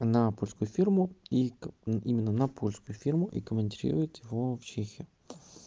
на польскую фирму и именно на польскую фирму и комутируют его в чехию